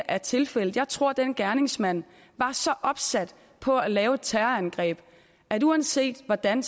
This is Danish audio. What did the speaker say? er tilfældet jeg tror at den gerningsmand var så opsat på at lave et terrorangreb at uanset hvordan